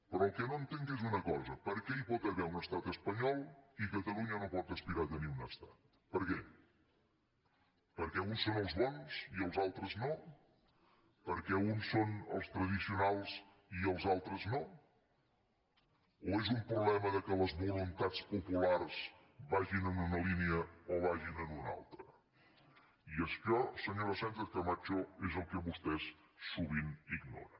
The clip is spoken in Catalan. però el que no entenc és una cosa per què hi pot haver un estat espanyol i catalunya no pot aspirar a tenir un estat per què perquè uns són els bons i els altres no perquè uns són els tradicionals i els altres no o és un problema que les voluntats populars vagin en una línia o vagin en una altra i això senyora sánchez camacho és el que vostès sovint ignoren